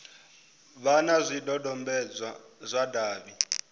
vha na zwidodombedzwa zwa davhi